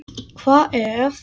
Hvað ef.?